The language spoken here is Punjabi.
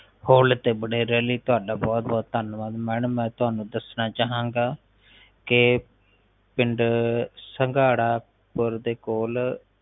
ਕਾਲ ਤੇ ਬਣੇ ਰਹਿਣ ਲਈ ਧੰਨਵਾਦ ਬਹੁਤ ਬਹੁਤ ਧੰਨਵਾਦ ਮੈਡਮ ਮੈ ਤੁਹਨੂੰ ਦੱਸਣਾ ਚਾਹਾਂ ਗਏ ਕਿ ਪਿੰਡ ਸੰਘਾੜਾਪੁਰ ਦੇ ਕੋਲ